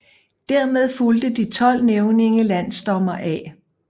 Dermed fulgte de 12 nævninge landsdommer A